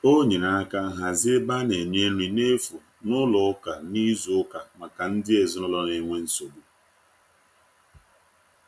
o nyere aka hazie ebe ana nye nri na efụ n'ụlọ ụka na izu uka maka ndi ezinulo n'enwe nsogbu